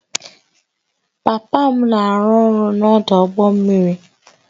Papa m na-arụ ọrụ n'ọdụ ụgbọ mmiri